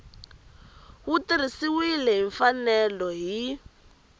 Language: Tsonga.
wu tirhisiwile hi mfanelo hi